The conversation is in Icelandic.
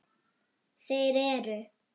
Þeir eru